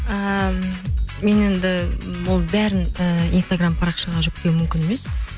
ііі мен енді ол бәрін і инстаграм парақшаға жүктеу мүмкін емес